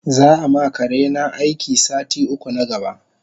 Zaama karena aiki sati uku na gaba